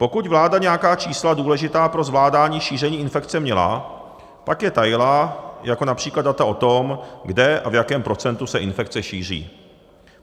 Pokud vláda nějaká čísla důležitá pro zvládání šíření infekce měla, pak je tajila, jako například data o tom, kde a v jakém procentu se infekce šíří.